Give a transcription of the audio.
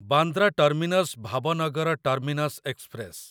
Bandra terminus Bhavnagar terminus express